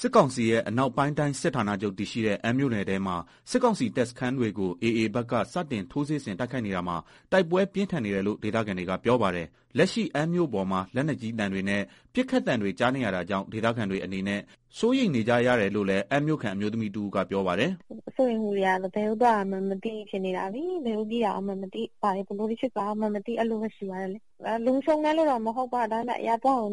စစ်ကောင်စီရဲ့ အနောက်ပိုင်းတိုင်းစစ်ဌာနချုပ်တည်ရှိတဲ့ အမ်းမြို့နယ်ထဲမှာ စစ်ကောင်စီတပ်စခန်းတွေကို AA ဘက်က စတင်ထိုးစစ်ဆင် တိုက်ခိုက်နေတာမှာ တိုက်ပွဲပြင်းထန်နေတယ်လို့ ဒေသခံတွေက ပြောပါတယ်။ လက်ရှိ အမ်းမြို့ပေါ်မှာ လက်ကြီးသံတွေနဲ့ ပစ်ခတ်သံတွေကြားနေရတာကြောင့် ဒေသခံတွေအနေနဲ့ စိုးရိမ်နေကြတယ်လို့လည်း အမ်းမြို့ခံ အမျိုးသမီးတဦးကပြောပါတယ်။ “စိုးရိမ်မှုတွေကတော့ ဘယ်ကို သွားရမလဲ မသိဖြစ်နေတာလေ ဘာတွေ ဘယ်လိုတွေ ဖြစ်လာမလဲမသိ အဲလိုပဲ။ လုံခြုံတယ်လို့လည်းမခံစားရဘူး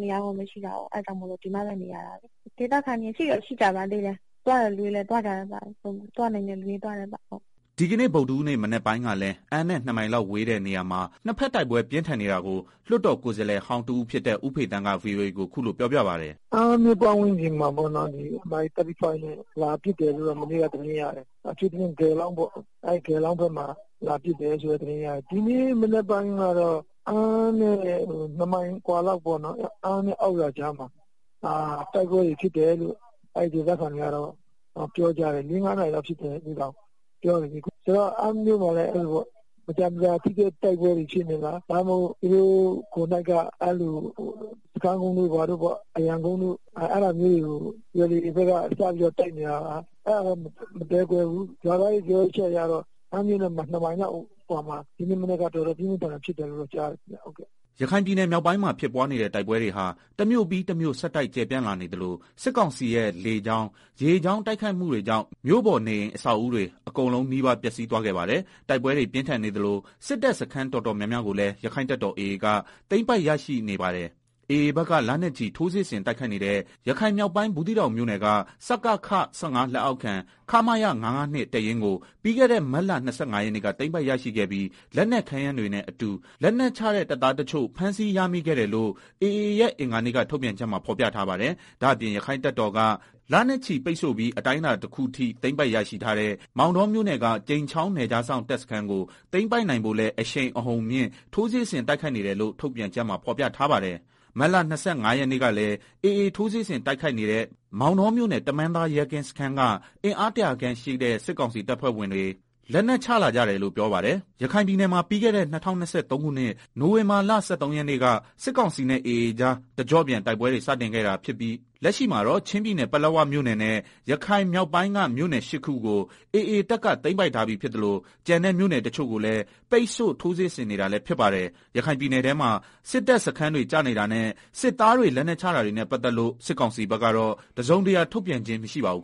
လေ ဒါပေမယ့် တခြားသွားစရာလည်းမရှိဘူးလေ၊ အဲတာကြောင့်ဒီမှာပဲ နေရတာလေ၊ ဒေသခံတွေကတော့ ရှိတဲ့သူလည်း ရှိသေးတယ် သွားတဲ့ သူတွေကလည်းသွားကြတယ် သွားနိုင်တဲ့ သူတွေ သွားကြတာပေါ့” ဒီကနေ့ ဗုဒ္ဓဟူးနေ့ မနက်ပိုင်းကလည်း အမ်းနဲ့ ၂ မိုင်လောက်ဝေးတဲ့ နေရာမှာ နှစ်ဘက်တိုက်ပွဲ ပြင်းထန်နေတာကို လွတ်တော်ကိုယ်စားလှယ်ဟောင်းတဦးဖြစ်တဲ့ ဦးဖေသန်းက VOA ကိုခုလိုပြောပြပါတယ်။ “ အမ်းမြို့ ပတ်ဝန်းကျင်မှာ Mi35 နဲ့ လာပစ်တယ်လို့ကြားတယ်၊ အထူးသဖြင့် ဂေလောင်းပေါ့ အဲဒီဘက်မှာ လာပစ်တယ်လို့ သတင်းရတယ်။ ဒီနေ့မနက်ကတော့ အမ်းနဲ့ ၂မိုင်အကွာ လောက်ပေါ့နော်၊ အမ်းနဲ့ အောက်ရွာကြားမှာ တိုက်ပွဲဖြစ်တယ်လို့ ဒေသခံတွေပြောတယ် လေးငါးနာရီလောက်ဖြစ်တယ်လို့ ပြောတယ်။” ရခိုင်ပြည်နယ်မြောက်ပိုင်းမှာ ဖြစ်ပွားနေတဲ့ တိုက်ပွဲတွေဟာ တမြို့ပြီးတမြို့ ဆက်တိုက် ကျယ်ပြန့်လာနေသလို စစ်ကောင်စီရဲ့ လေကြောင်း ရေကြောင်းတိုက်ခိုက်မှုတွေကြောင့် မြို့ပေါ်နေအိမ်အဆောက်အဦတွေ အကုန်နီးပါး ပျက်စီးသွားခဲ့ပါတယ်။ တိုက်ပွဲတွေပြင်းထန်နေသလို စစ်တပ်စခန်းတော်တော်များများကိုလည်း ရက္ခိုင့်တပ်တော် AA က သိမ်းပိုက် ရရှိနေပါတယ်။ AA ဘက်က လနဲ့ချီထိုးစစ်ဆင်တိုက်ခိုက်နေတဲ့ ရခိုင်မြောက်ပိုင်း ဘူးသီးတောင်မြို့ နယ်က စကခ လက်အောက်ခံ ခမရ ၅၅၂ တပ်ရင်းကို ပြီးခဲ့တဲ့ မတ်လ ၂၅ ရက်နေ့က သိမ်းပိုက်ရရှိခဲ့ပြီး လက်နက်ခဲယမ်းတွေနဲ့ အတူ လက်နက်ချတဲ့ တပ်သား တချို့ဖမ်းဆီးရမိခဲ့တယ်လို့ AA ရဲ့ အင်္ဂါနေ့က ထုတ်ပြန်ချက်မှာဖော်ပြထားပါတယ်။ ဒါ့အပြင် ရက္ခိုင့်တပ်တော်က လနဲ့ချီပိတ်ဆို့ပြီးအတိုင်းအတာတခုအထိ သိမ်းပိုက်ရရှိထားတဲ့ မောင်တောမြို့နယ်က ကြိမ်ချောင်းနယ်ခြားစောင့်တပ်စခန်းကို သိမ်းပိုက်နိုင်ဖို့လည်း အရှိန်အဟုန်မြင့် ထိုးစစ်ဆင်တိုက်ခိုက်နေတယ်လို့ ထုတ်ပြန်ချက်မှာဖော်ပြထားပါတယ်။ မတ်လ ၂၅ရက်နေ့ကလည်း AA ထိုးစစ်ဆင်တိုက်ခိုက်နေတဲ့ မောင်တောမြို့နယ် တမန်းသားရဲကင်းစခန်းက အင်အား၁ဝဝခန့်ရှိတဲ့ စစ်ကောင်စီတပ်ဖွဲ့ဝင်တွေ လက်နက်ချလာကြတယ်လို့ ပြောပါတယ်။ ရခိုင်ပြည်နယ်မှာ ပြီးခဲတဲ့ ၂၀၂၃ ခုနှစ် နိုဝင်ဘာလ ၁၃ရက်နေ့ကစစ်ကောင်စီနဲ့ AA ကြား တကျော့ပြန်တိုက်ပွဲတွေ စတင်ခဲ့တာဖြစ်ပြီး လက်ရှိမှာတော့ ချင်းပြည်နယ်က ပလက်ဝမြို့နယ်နဲ့ ရခိုင်မြောက်ပိုင်းက မြို့နယ် ၈ခုကိုAAတပ်ကသိမ်းပိုက်ထားပြီး ဖြစ်သလို ကျန်တဲ့ မြို့နယ်တချို့ကိုလည်း ပိတ်ဆို့ ထိုးစစ်ဆင်နေတာလည်းဖြစ်ပါတယ်။ ရခိုင်ပြည်နယ်ထဲမှာ စစ်တပ်စခန်းတွေကျနေတာနဲ့ စစ်သားတွေ လက်နက်ချတာတွေနဲ့ပတ်သက်လို့ စစ်ကောင်စီဘက်က တစုံတရာ ထုတ်ပြန်ခြင်း မရှိပါဘူး